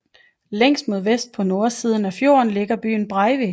Længst mod vest på nordsideb af fjorden ligger bygden Breivik